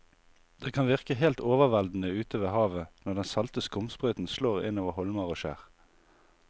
Det kan virke helt overveldende ute ved havet når den salte skumsprøyten slår innover holmer og skjær.